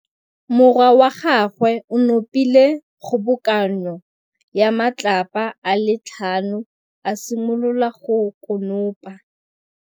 Morwa wa gagwe o nopile kgobokanô ya matlapa a le tlhano, a simolola go konopa.